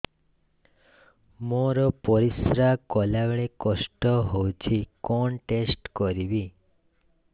ମୋର ପରିସ୍ରା ଗଲାବେଳେ କଷ୍ଟ ହଉଚି କଣ ଟେଷ୍ଟ କରିବି